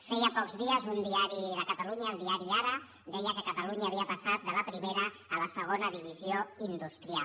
feia pocs dies un diari de catalunya el diari aranya havia passat de la primera a la segona divisió industrial